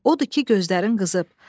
Odur ki gözlərin qızıb.